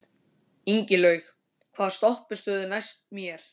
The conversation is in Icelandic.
Ingilaug, hvaða stoppistöð er næst mér?